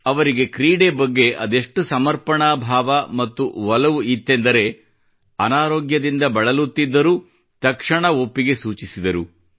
ಅವರಿಗೆ ಕ್ರೀಡೆ ಬಗ್ಗೆ ಅದೆಷ್ಟು ಸಮರ್ಪಣಾ ಭಾವ ಮತ್ತು ಒಲವಿತ್ತೆಂದರೆ ಅನಾರೋಗ್ಯದಿಂದ ಬಳಲುತ್ತಿದ್ದರೂ ತಕ್ಷಣ ಒಪ್ಪಿಗೆ ಸೂಚಿಸಿದರು